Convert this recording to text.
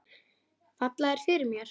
Falla þær fyrir mér?